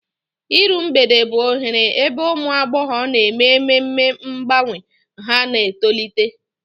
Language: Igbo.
Iru Mgbede bụ oghere ebe ụmụ agbọghọ na-eme ememe mgbanwe ha na-etolite.